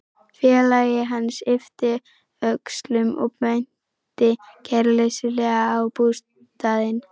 Félagi hans yppti öxlum og benti kæruleysislega á bústaðinn.